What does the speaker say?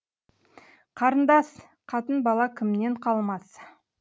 қарындас қатын бала кімнен қалмас